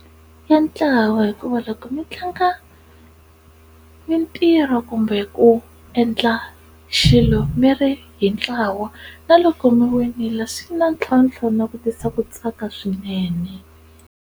Ya ntlawa hikuva loko mi tlanga mintirho kumbe ku endla xilo mi ri hi ntlawa na loko mi winile swi na ntlhontlho na ku tisa ku tsaka swinene.